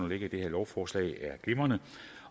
ligger i det her lovforslag er glimrende